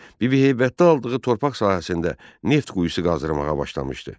Bibiheybətdə aldığı torpaq sahəsində neft quyusu qazmağa başlamışdı.